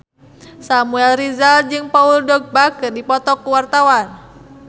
Samuel Rizal jeung Paul Dogba keur dipoto ku wartawan